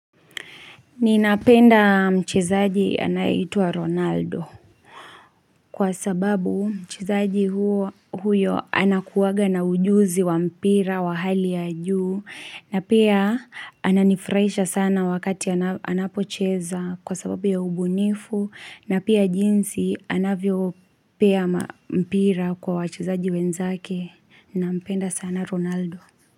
Ninapenda mchezaji anaeitwa Ronaldo kwa sababu mchezaji huyo anakuwaga na ujuzi wa mpira wa hali ya juu na pia ananifraisha sana wakati anapocheza kwa sababu ya ubunifu na pia jinsi anavyo pea mpira kwa wachizaji wenzake na mpenda sana Ronaldo.